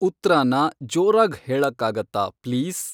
ಉತ್ತ್ರಾನ ಜೋರಾಗ್ ಹೇಳಕ್ಕಾಗತ್ತಾ ಪ್ಲೀಸ್